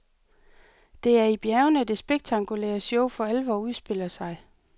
Det er i bjergene, det spektakulære show for alvor udspiller sig.